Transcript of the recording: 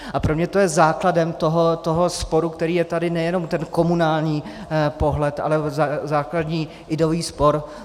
A pro mě to je základem toho sporu, který je tady, nejenom ten komunální pohled, ale základní ideový spor.